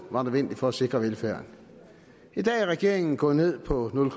var nødvendigt for at sikre velfærden i dag er regeringen gået ned på nul